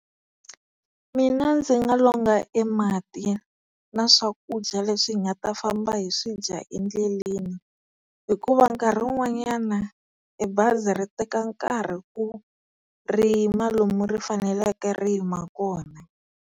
Mina ndzi nga longa e mati na swakudya leswi hi nga ta famba hi swi dya endleleni, hikuva nkarhi wun'wanyana e bazi ri teka nkarhi ku ri yima lomu ri faneleke ri yima kona.